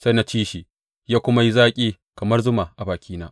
Sai na ci shi, ya kuma yi zaki kamar zuma a bakina.